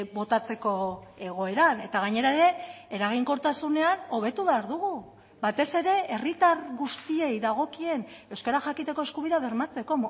botatzeko egoeran eta gainera ere eraginkortasunean hobetu behar dugu batez ere herritar guztiei dagokien euskara jakiteko eskubidea bermatzeko